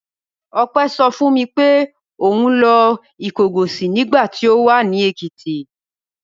Ọpẹ́ sọ fún mi pé òun lọ Ìkọgọ̀sì nígbà tí ó wà ní Èkìtì.